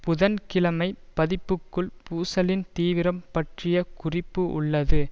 புதன்கிழமை பதிப்பில் க்குள் பூசலின் தீவிரம் பற்றிய குறிப்பு உள்ளது